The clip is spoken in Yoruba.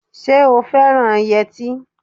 Ṣé o fẹ́ràn yẹtí?